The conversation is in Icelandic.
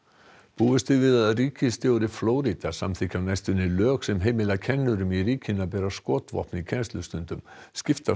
búist er við að ríkisstjóri Flórída samþykki á næstunni lög sem heimila kennurum í ríkinu að bera skotvopn í kennslustundum skiptar